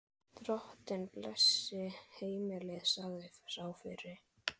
Drottinn blessi heimilið, sagði sá fyrri.